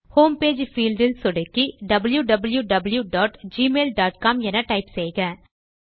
home page field இல் சொடுக்கி wwwgmailcom என டைப் செய்க